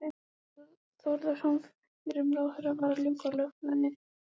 Þórðarson fyrrum ráðherra, var að ljúka lögfræðinámi.